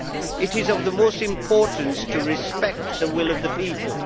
It is of the utmost importance to respect the will of the people.